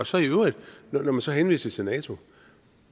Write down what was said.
så i øvrigt når man så henviser til nato